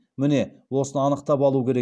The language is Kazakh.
міне осыны анықап алу керек